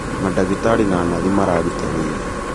Mandagĩtarĩ na Nathi mararuta wĩra